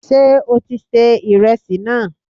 Sé o ti ṣe ìresì náà?